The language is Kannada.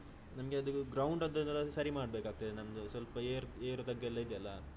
ನಮ್ಗೆ ಅದು ground ದ್ದು ಸರಿ ಮಾಡ್ಬೇಕಾಗ್ತದೆ ನಮ್ದು ಸ್ವಲ್ಪ ಏರ್~ ಏರು ತಗ್ಗು ಇದೆಲ್ಲಾ.